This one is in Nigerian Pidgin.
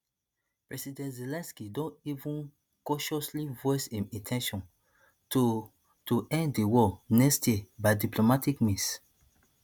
president zelensky don even cautiously voice im in ten tion to to end di war next year by diplomatic means